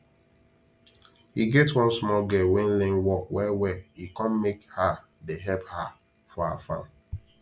e get one small girl wen learn work well well e come make her dey help her for her farm